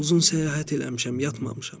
Uzun səyahət eləmişəm, yatmamışam.